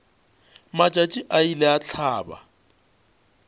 matšatši a ile a hlaba